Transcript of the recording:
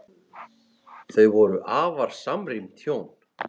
Þau voru afar samrýnd hjón.